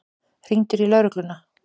Hringdirðu í lögregluna?